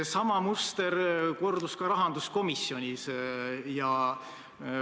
Sama muster kordus ka rahanduskomisjonis.